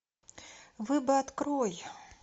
вы бы открой